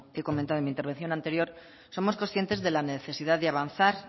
he comentado en mi intervención anterior somos conscientes de la necesidad de avanzar